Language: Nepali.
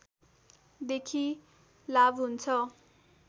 देखि लाभ हुन्छ